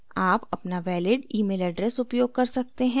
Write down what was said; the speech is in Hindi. आप अपना valid प्रमाणिक email address उपयोग कर सकते हैं